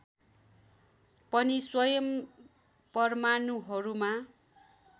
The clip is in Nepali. पनि स्वयं परमाणुहरूमा